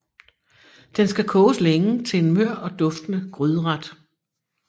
Den skal koges længe til en mør og duftende gryderet